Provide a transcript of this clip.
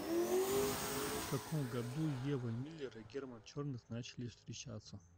в каком году ева миллер и герман черных начали встречаться